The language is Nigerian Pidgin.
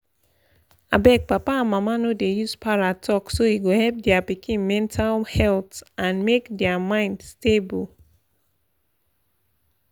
abeg papa and mama no dey use para talk so e go help their pikin mental health and make their mind stable.